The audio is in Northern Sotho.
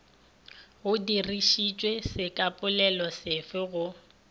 go dirišišwe sekapolelo sefe go